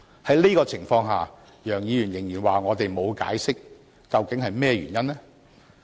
在這個情況下，楊議員仍然說我們沒有解釋，究竟是甚麼原因呢？